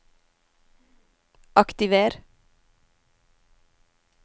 aktiver